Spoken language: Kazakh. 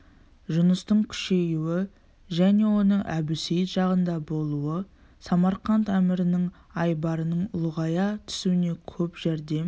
жұныстың күшеюі және оның әбусейіт жағында болуы самарқант әмірінің айбарының ұлғая түсуіне көп жәрдем